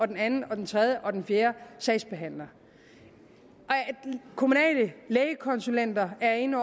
den anden den tredje og den fjerde sagsbehandler kommunale lægekonsulenter er inde